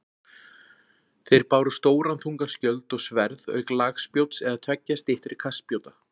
Þeir báru stóran þungan skjöld og sverð auk lagspjóts eða tveggja styttri kastspjóta.